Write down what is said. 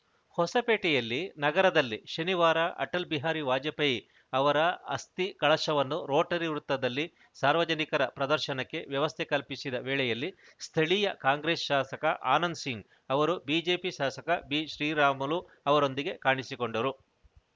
ಹೊಸಪೇಟೆಯಲ್ಲಿ ನಗರದಲ್ಲಿ ಶನಿವಾರ ಅಟಲ್‌ ಬಿಹಾರಿ ವಾಜಪೇಯಿ ಅವರ ಅಸ್ಥಿ ಕಳಶವನ್ನು ರೋಟರಿ ವೃತ್ತದಲ್ಲಿ ಸಾರ್ವಜನಿಕರ ಪ್ರದರ್ಶನಕ್ಕೆ ವ್ಯವಸ್ಥೆ ಕಲ್ಪಿಸಿದ ವೇಳೆಯಲ್ಲಿ ಸ್ಥಳೀಯ ಕಾಂಗ್ರೆಸ್‌ ಶಾಸಕ ಆನಂದ್‌ ಸಿಂಗ್‌ ಅವರು ಬಿಜೆಪಿ ಶಾಸಕ ಬಿ ಶ್ರೀರಾಮುಲು ಅವರೊಂದಿಗೆ ಕಾಣಿಸಿಕೊಂಡರು